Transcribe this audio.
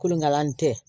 Kolonkalan tɛ